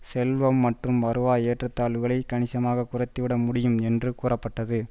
செல்வம் மற்றும் வருவாய் ஏற்றத்தாழ்வுகளை கனிசமாக குறைத்துவிட முடியும் என்று கூறப்பட்டது